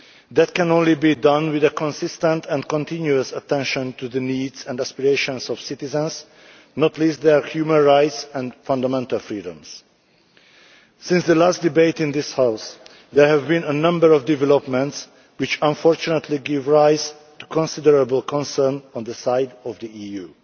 That can only be done with consistent and continuous attention to the needs and aspirations of citizens, not least their human rights and fundamental freedoms. Since the last debate in this House there have been a number of developments which unfortunately give rise to considerable concern on the part of the EU.